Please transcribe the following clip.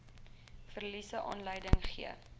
verliese aanleiding gegee